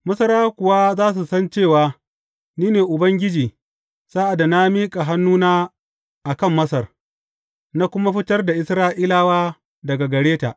Masarawa kuwa za su san cewa ni ne Ubangiji sa’ad da na miƙa hannuna a kan Masar, na kuma fitar da Isra’ilawa daga gare ta.